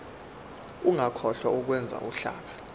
ungakhohlwa ukwenza uhlaka